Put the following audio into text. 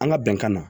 An ka bɛnkan na